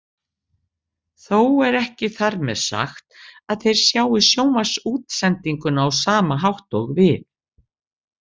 Þó er ekki þar með sagt að þeir sjái sjónvarpsútsendinguna á sama hátt og við.